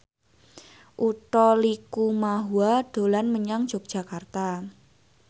Utha Likumahua dolan menyang Yogyakarta